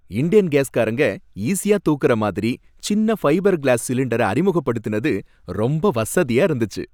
Indane gas காரங்க ஈஸியா தூக்குற மாதிரி சின்ன ஃபைபர் க்ளாஸ் சிலிண்டரை அறிமுகப்படுத்தினது ரொம்ப வசதியா இருந்துச்சு.